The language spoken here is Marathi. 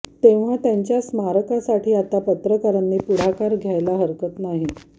तेव्हा त्यांच्या स्मारकासाठी आता पत्रकारांनी पुढाकार घ्यायला हरकत नाही